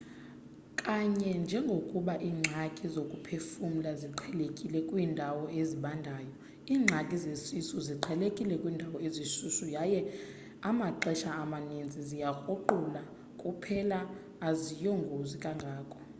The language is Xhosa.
kanye njengokuba iingxaki zokuphefumla ziqhelekile kwiindawo ezibandayo iingxaki zesisu ziqhelekile kwiindawo ezishushu yaye amaxesha amaninzi ziyakruqula kuphela aziyongozi kangako